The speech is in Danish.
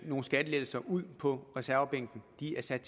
nogle skattelettelser ud på reservebænken de er sat